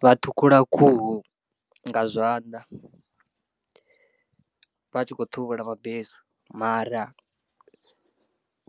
Vha ṱhukhula khuhu nga zwanḓa vha tshi khou ṱhuvhula mabesu mara